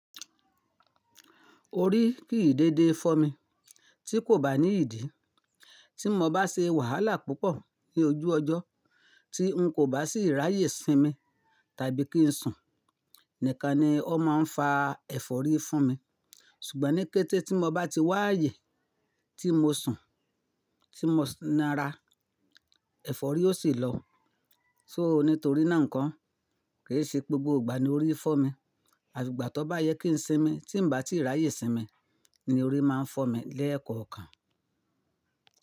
Orí kìí dédé fọ́ mi tí kò bá ní ìdí. Tí mo bá ṣe wàhálà púpọ̀ ní ojú ọjọ́, tí n kò bá sì ráyè sínmi tàbí kí n sùn, nìkan ni ó máa ń fa ẹ̀fọ́rí fún mi. Ṣùgbọ́n ní kété tí mo bá ti wá àyè tí mo sùn, tí mo n'ara, ẹ̀fọ́rí ó sì lọ. So nítorí náà n kọ́ kì í ṣe gbogbo ìgbà ni orí fọ́ mi. Asiko ìgbà tọ́ bá yẹ kí ń sínmi tí ń bá tíì ráyè sínmi ni orí máa ń fọ́ mi lẹ́ẹ̀kọ̀ọ̀kan.